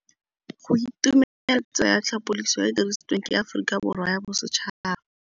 Go itumela ke tsela ya tlhapolisô e e dirisitsweng ke Aforika Borwa ya Bosetšhaba.